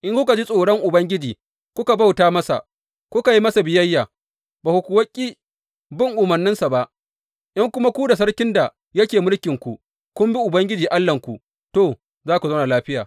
In kuka ji tsoron Ubangiji, kuka bauta masa, kuka yi masa biyayya, ba ku kuwa ƙi bin umarninsa ba, in kuma ku da sarkin da yake mulkinku kun bi Ubangiji Allahnku, to, za ku zauna lafiya.